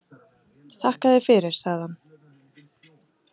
Þakka þér fyrir, sagði hann.